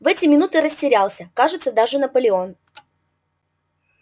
в эти минуты растерялся кажется даже наполеон